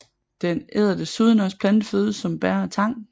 Den æder desuden også planteføde som bær og tang